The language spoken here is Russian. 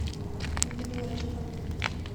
ювелирочка